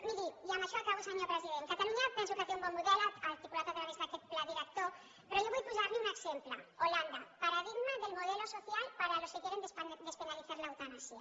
miri i amb això acabo senyor president catalunya penso que té un bon model articulat a través d’aquest pla director però jo vull posar li un exemple holanda paradigma del modelo social para los que quieren despenalizar la eutanasia